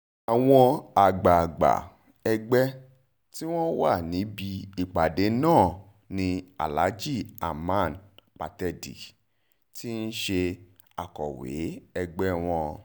àwọn àgbààgbà ẹgbẹ́ tí wọ́n wà níbi ìpàdé náà ni aláàjì hamann pàtẹ́dì ti ṣe akọ̀wé ẹgbẹ́ wọn